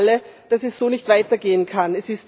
wir wissen alle, dass es so nicht weitergehen kann.